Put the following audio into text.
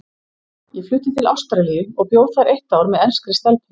Ég flutti til Ástralíu og bjó þar eitt ár með enskri stelpu.